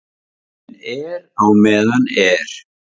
En er á meðan er